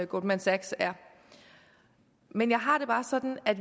goldman sachs er men jeg har det bare sådan at